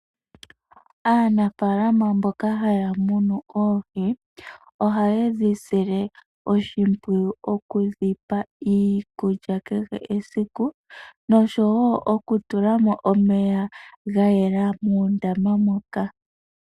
Aanafaalama mboka haya munu oohi. Ohaye dhi sile oshimpwiyu oku dhipa iilya kehe esiku . Nosho woo oku tula mo omeya gayela muundama moka.